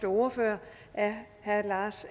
ordfører er herre lars